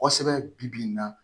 Kosɛbɛ bi bi in na